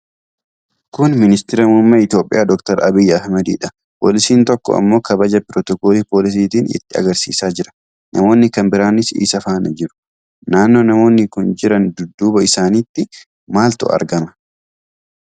Kun Ministiira Muummee Itoophiyaa Dr Abiy Ahimadidha. Poolisiin tokko ammoo kabaja pirotokolii poolisiitiin itti agarsiisaa jira. Namoonni kan biraanis isa faana jiru. Naannoo namoonni kun jiran, dudduuba isaanitti maaltu argama?